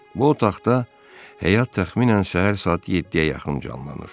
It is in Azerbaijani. Bu otaqda həyat təxminən səhər saat 7-yə yaxın canlanır.